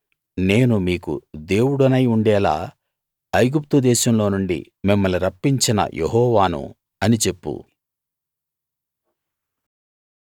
నేను మీకు దేవుడనై ఉండేలా ఐగుప్తు దేశంలోనుండి మిమ్మల్ని రప్పించిన యెహోవాను అని చెప్పు